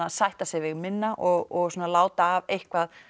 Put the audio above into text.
sætta sig við minna og láta af eitthvað